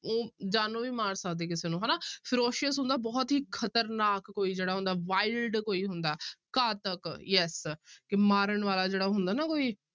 ਉਹ ਜਾਨੋਂ ਵੀ ਮਾਰ ਸਕਦੇ ਕਿਸੇ ਨੂੰ ਹਨਾ ferocious ਹੁੰਦਾ ਬਹੁਤ ਹੀ ਖ਼ਤਰਨਾਕ ਕੋਈ ਜਿਹੜਾ ਹੁੰਦਾ wild ਕੋਈ ਹੁੰਦਾ ਘਾਤਕ yes ਕਿ ਮਾਰਨ ਵਾਲਾ ਜਿਹੜਾ ਹੁੰਦਾ ਨਾ ਕੋਈ